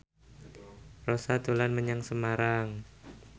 Rossa dolan menyang Semarang